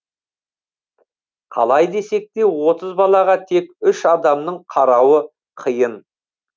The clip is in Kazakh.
қалай десек те отыз балаға тек үш адамның қарауы қиын